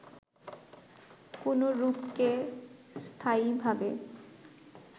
কোন রূপকে স্থায়ীভাবে